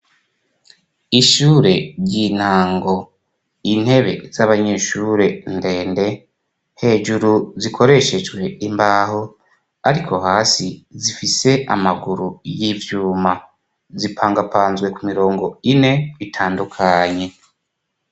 Ishure ry'intango intebe z'abanyeshure ndende hejuru zikoreshejwe imbaho ariko hasi zifise amaguru y'ivyuma zipangapanzwe ku mirongo ine bitandukanye.